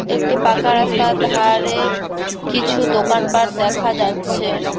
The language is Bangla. একটি পাকা রাস্তার ধারে কিছু দোকানপাট দেখা যাচ্ছে।